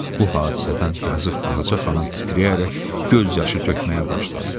Bu hadisədən yazıq Ağaca xanım titrəyərək göz yaşı tökməyə başladı.